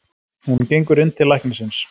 Hún gengur inn til læknisins.